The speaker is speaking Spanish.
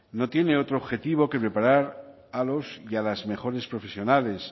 no tiene otro objetivo que preparar a los y a las mejores profesionales